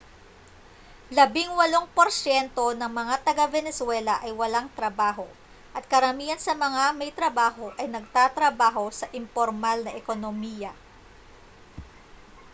labingwalong porsyento ng mga taga-venezuela ay walang trabaho at karamihan sa mga may trabaho ay nagtatrabaho sa impormal na ekonomiya